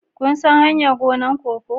Kun san hanyar gonar koko?